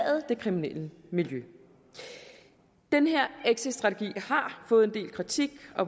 det kriminelle miljø den her exitstrategi har fået en del kritik